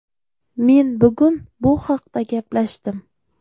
Men bugun bu haqda gaplashdim.